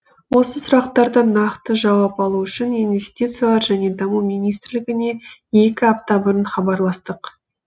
осы сұрақтарды нақты жауап алу үшін инвестициялар және даму министрлігіне екі апта бұрын хабарластық